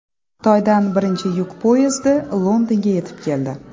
Xitoydan birinchi yuk poyezdi Londonga yetib keldi .